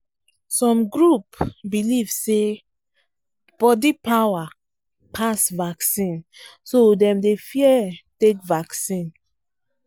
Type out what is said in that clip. some group believe say body power better pass vaccine so dem dey fear take vaccine